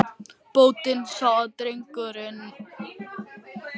Bóndinn sá að enginn dagur var til máta konu hans.